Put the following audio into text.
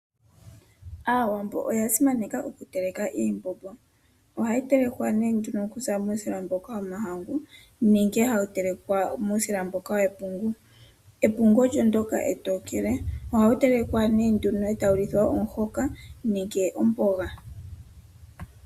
Aawambo oya simaneka okuteleka iimbombo ohayi telekwa nee nduno okuza muusila womahangu nenge hashi telekwa muusila mboka wepungu. Epungu olyo ndyoka etokele ohawu telekwa e tawu lithwa omuhoka nenge omboga.